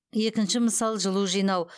екінші мысал жылу жинау